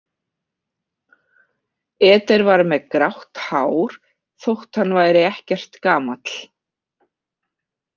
Eder var með grátt hár þótt hann væri ekkert gamall.